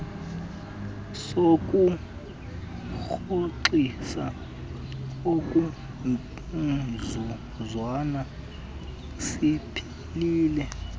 sokurhoxisa okomzuzwana siphelile